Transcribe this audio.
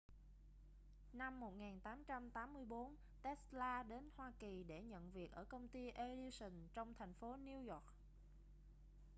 năm 1884 tesla đến hoa kỳ để nhận việc ở công ty edison trong thành phố new york